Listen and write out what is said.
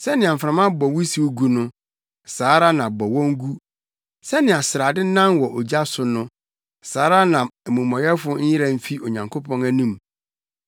Sɛnea mframa bɔ wusiw gu no, saa ara na bɔ wɔn gu; sɛnea srade nan wɔ ogya so no, saa ara na amumɔyɛfo nyera mfi Onyankopɔn anim.